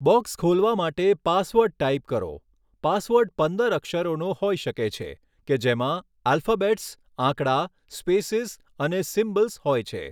Box ખોલવા માટે password type કરો.પાસવર્ડ પંદર અક્ષરોનો હોઈ શકે છે કે જેમાં આલ્ફાબેટ્સ, આંકડા, સ્પેસિસ અને સિમ્બલ્સ હોય છે.